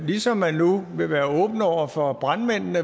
ligesom man nu vil være åben over for brandmændene